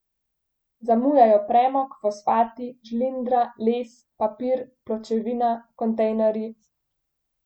Zamujajo premog, fosfati, žlindra, les, papir, pločevina, kontejnerji ...